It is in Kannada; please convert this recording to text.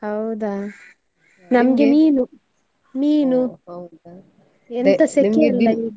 ಹೌದಾ, ನಮ್ಗೆ ಮೀನು, ಮೀನು. .